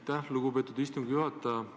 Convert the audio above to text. Aitäh, lugupeetud istungi juhataja!